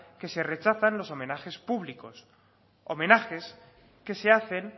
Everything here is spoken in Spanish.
que se rechazan los homenajes públicos homenajes que se hacen